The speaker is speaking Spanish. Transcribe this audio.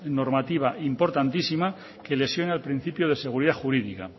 normativa importantísima que lesiona el principio de seguridad jurídica